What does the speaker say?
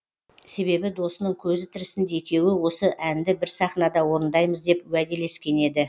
себебі досының көзі тірісінде екеуі осы әнді бір сахнада орындаймыз деп уәделескен еді